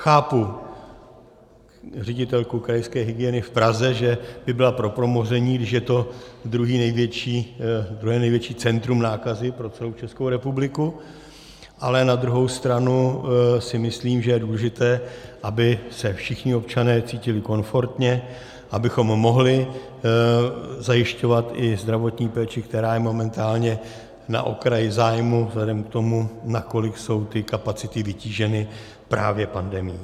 Chápu ředitelku krajské hygieny v Praze, že by byla pro promoření, když je to druhé největší centrum nákazy pro celou Českou republiku, ale na druhou stranu si myslím, že je důležité, aby se všichni občané cítili komfortně, abychom mohli zajišťovat i zdravotní péči, která je momentálně na okraji zájmu vzhledem k tomu, na kolik jsou ty kapacity vytíženy právě pandemií.